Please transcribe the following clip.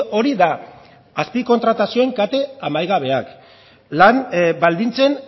hori da azpikontratazioen kate amaigabeak lan baldintzen